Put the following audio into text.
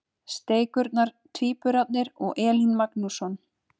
Steikurnar- Tvíburarnir og Elín Magnússon.